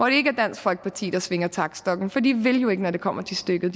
ikke er dansk folkeparti der svinger taktstokken for de vil jo ikke når det kommer til stykket